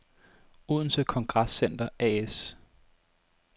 Odense Congress Center A/S